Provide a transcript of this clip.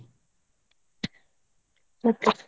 ಮತ್ತೆ?